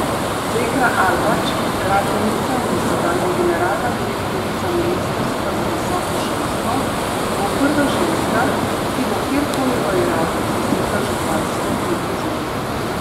Zekra Alvač, gradbenica in dosedanja generalna direktorica ministrstva za visoko šolstvo, bo prva ženska, ki bo kjerkoli v Iraku zasedla župansko funkcijo.